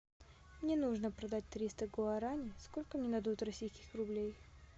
мне нужно продать триста гуарани сколько мне дадут российских рублей